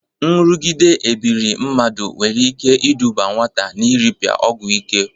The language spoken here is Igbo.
Nrụgide ebiri mmadụ nwere ike ịdụba nwata na nrịpịa ọgwọ ike.